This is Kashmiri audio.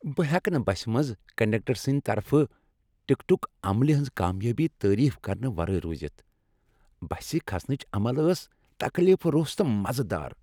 بہٕ ہیٚکہٕ نہٕ بسہِ منٛز کنڈکٹر سٕنٛدۍ طرفہٕ ٹکٹُک عملہِ ہنٛز کامیٲبی تعریف کرنہٕ ورٲے رُوزتھ۔ بسہِ کھسنٕچ عمل ٲس تکلیف رُس تہٕ مزٕ دار۔